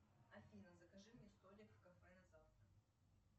афина закажи мне столик в кафе на завтра